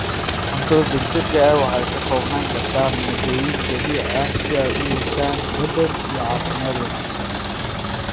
Cuntada degdega ah waxay ka koobnaan kartaa maaddooyin dabiici ah si ay u yeeshaan dhadhan iyo caafimaad wanaagsan.